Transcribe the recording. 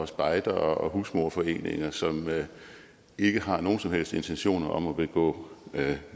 spejdere og husmorforeninger som ikke har nogen som helst intentioner om at begå